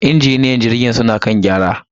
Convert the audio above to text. injiniyoyin jirgin suna kan gyara.